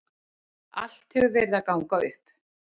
Allt hefur verið að ganga upp.